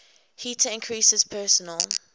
heater increases personal